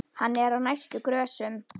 Hann er á næstu grösum.